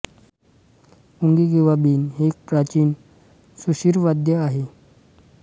पुंगी किंवा बीन हे एक प्राचीन सुषिरवाद्य वाद्य आहे